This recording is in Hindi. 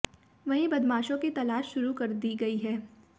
वहीं बदमाशों की तलाश शुरू कर दी गई है